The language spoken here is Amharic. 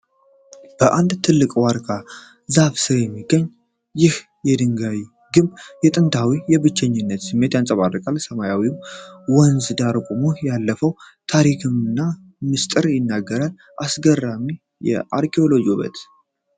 በአንድ ትልቅ የዋርካ ዛፍ ሥር የሚገኘው ይህ የድንጋይ ግንብ ጥንታዊና የብቸኝነት ስሜት ያንጸባርቃል። በሰላማዊው ወንዝ ዳር ቆሞ፣ ያለፈውን ታሪክና ምስጢር ይናገራል። አስገራሚ የአርኪዮሎጂ ውበት!